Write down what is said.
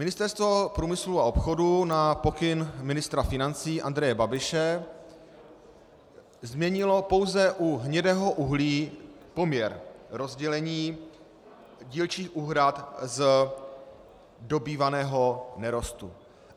Ministerstvo průmyslu a obchodu na pokyn ministra financí Andreje Babiše změnilo pouze u hnědého uhlí poměr rozdělení dílčích úhrad z dobývaného nerostu.